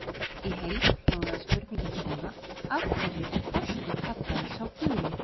Í heild hljóðaði spurningin svona: Af hverju er þorskur kallaður sá guli?